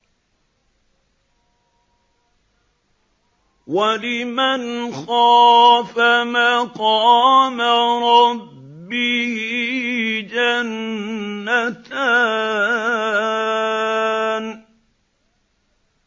وَلِمَنْ خَافَ مَقَامَ رَبِّهِ جَنَّتَانِ